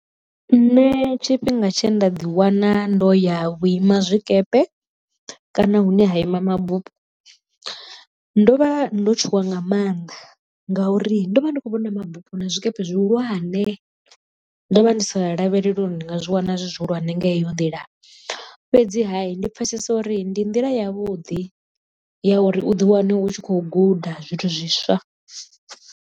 Nṋe tshifhinga tshe nda ḓiwana ndo ya vhu ima zwikepe kana hune ha ima mabufho, ndo vha ndo tshuwa nga mannḓa ngauri ndo vha ndi khou vhona mabupo na zwikepe zwihulwane ndo vha ndi sa lavheleli uri ndi nga zwi wana zwi zwihulwane nga heyo nḓila fhedzi ha ndi pfesesa uri ndi nḓila ya vhuḓi ya uri uḓi wane u tshi khou guda zwithu zwiswa.